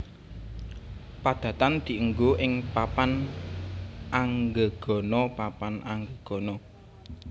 Padatan diènggo ing papan anggegana papan anggegana